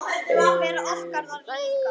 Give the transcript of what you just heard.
Vera okkar þar líka.